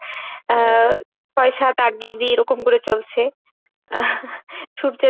আহ ছয়, সাত, আট এরকম করে চলছে সূর্যের